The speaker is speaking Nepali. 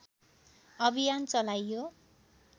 अभियान चलाइयो